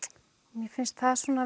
mér finnst það